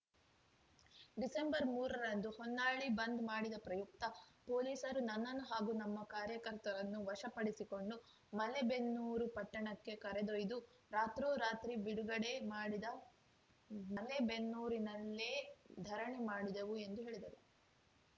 ಡಿಸೆಂಬರ್ಮೂರರಂದು ಹೊನ್ನಾಳಿ ಬಂದ್‌ ಮಾಡಿದ ಪ್ರಯುಕ್ತ ಪೊಲೀಸರು ನನ್ನನ್ನು ಹಾಗೂ ನಮ್ಮ ಕಾರ್ಯಕರ್ತರನ್ನು ವಶಪಡಿಸಕೊಂಡು ಮಲೇಬೆನ್ನೂರು ಪಟ್ಟಣಕ್ಕೆ ಕರೆದೊಯ್ದು ರಾತ್ರೋರಾತ್ರಿ ಬಿಡುಗಡೆ ಮಾಡಿದ ಮಲೇಬೆನ್ನೂರಿನಲ್ಲೇ ಧರಣಿ ಮಾಡಿದೆವು ಎಂದು ಹೇಳಿದರು